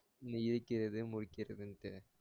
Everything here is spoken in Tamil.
இங்கு இருக்கிறது மொய்க்கிறதுண்டு